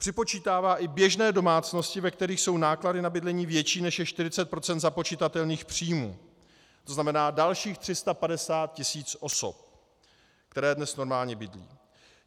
Připočítává i běžné domácnosti, ve kterých jsou náklady na bydlení větší než 40 % započitatelných příjmů, to znamená dalších 350 tisíc osob, které dnes normálně bydlí.